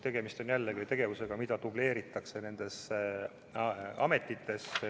Tegemist on jällegi tegevusega, mida dubleeritakse nendes ametites.